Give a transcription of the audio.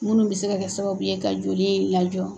Minnu bɛ se ka kɛ sababu ye ka joli in lajɔ.